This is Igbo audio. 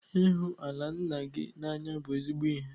Ihu ala nna gị n'anya bụ ezigbo ihe.